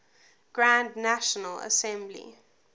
grand national assembly